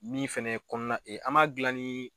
Min fɛnɛ ye kɔnɔna an m'a gilan ni